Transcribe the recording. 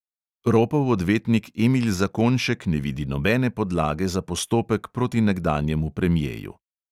Ropov odvetnik emil zakonjšek ne vidi nobene podlage za postopek proti nekdanjemu premjeju.